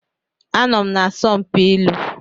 Anọ m na asọmpi ilu.